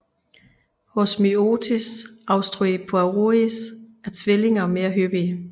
Hos Myotis austroriparius er tvillinger mere hyppige